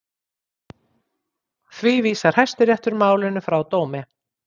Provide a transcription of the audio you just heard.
Því vísar Hæstiréttur málinu frá dómi